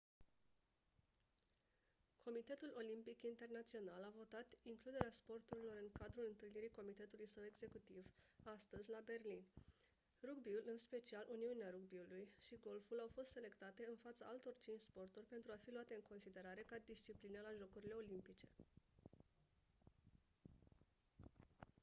comitetul olimpic internațional a votat includerea sporturilor în cadrul întâlnirii comitetului său executiv astăzi la berlin rugby-ul în special uniunea rugby-ului și golful au fost selectate în fața altor 5 sporturi pentru a fi luate în considerare ca discipline la jocurile olimpice